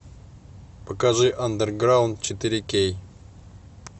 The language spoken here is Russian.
покажи андерграунд четыре кей